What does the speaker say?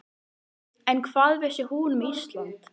En hvað vissi hún um Ísland?